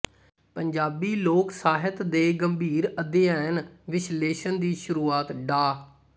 ਪੰਜਾਬੀ ਲੋਕ ਸਾਹਿਤ ਦੇ ਗੰਭੀਰ ਅਧਿਐਨ ਵਿਸ਼ਲੇਸ਼ਣ ਦੀ ਸ਼ੁਰੂਆਤ ਡਾ